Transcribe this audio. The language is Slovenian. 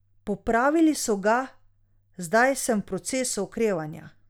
Popravili so ga, zdaj sem v procesu okrevanja.